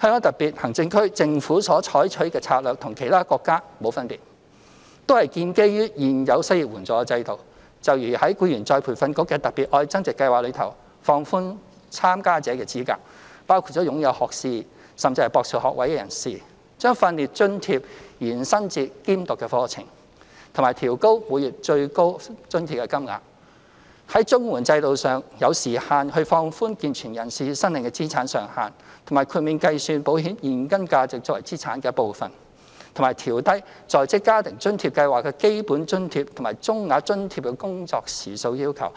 香港特別行政區政府所採取的策略與其他國家無分別，都是建基於現有失業援助制度，就如在再培訓局的"特別.愛增值"計劃中，放寬參加的資格至包括擁有學士甚至博士學位的人士、將訓練津貼延伸至兼讀課程，以及調高每月最高津貼金額；在綜援制度中，有時限地放寬健全人士申領的資產上限，以及豁免計算保險現金價值作為資產的一部分；及調低職津計劃的基本津貼及中額津貼的工作時數要求，